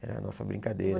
Era a nossa brincadeira.